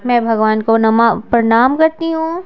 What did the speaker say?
मैं भगवान को नमा प्रणाम करती हूं।